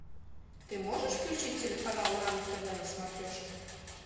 ты можешь включить телеканал нано тв на смотрешке